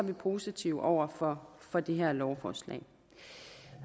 vi positive over for for det her lovforslag